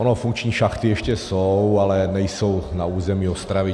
Ono funkční šachty ještě jsou, ale nejsou na území Ostravy.